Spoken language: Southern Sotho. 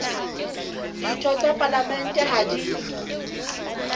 ditho tsa palamente ha di